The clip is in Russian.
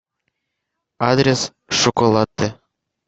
адрес шоколатте